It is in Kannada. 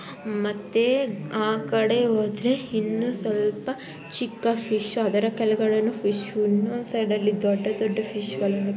ಮತ್ತೆ ಆಕಡೆ ಹೋದ್ರೆ ಇನ್ನು ಸ್ವಲ್ಪ ಚಿಕ್ಕ ಫಿಶ್ ಇನೊಂದು ಸೈಡ್ ದೊಡ್ಡ ದೊಡ್ಡ ಫಿಶ್